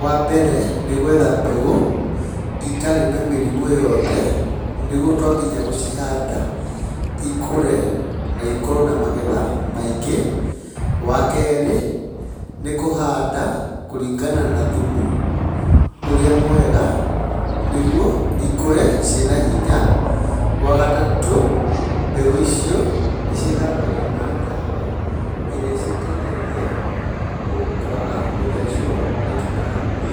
Wa mbere nĩ gũetha mbegũ itarĩ na mĩrimũ yothe, nĩguo twakinya gũcihanda ikũre na ikorwo na magetha maingĩ. Wa keerĩ, nĩ kũhanda kũringana na thumu ũrĩa mwega nĩguo ikũre cirĩ na hinya. Wa gatatũ, mbegũ icio nĩ cithambagio na ndawa ĩrĩa ĩciteithagia kũaga gũthecwo nĩ tũtambi.